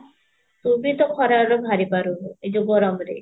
ତୁ ବି ତ ଖରା ରେ ବାହାରି ପାରୁନୁ ଏ ଯୋଉ ଗରମ ରେ